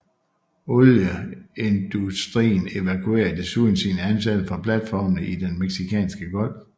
Olieindutrien evakuerede desuden sine ansatte fra platformene i den Mexicanske Golf